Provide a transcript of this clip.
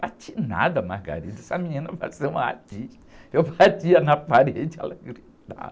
Bati nada, essa menina pareceu uma artista, eu batia na parede, ela gritava.